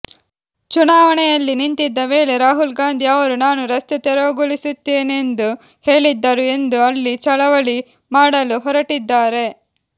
ಚುನಾವಣೆಯಲ್ಲಿ ನಿಂತಿದ್ದ ವೇಳೆ ರಾಹುಲ್ ಗಾಂಧಿ ಅವರು ನಾನು ರಸ್ತೆ ತೆರವುಗೊಳಿಸುತ್ತೇನೆಂದು ಹೇಳಿದ್ದರು ಎಂದು ಅಲ್ಲಿ ಚಳವಳಿ ಮಾಡಲು ಹೊರಟಿದ್ದಾರೆ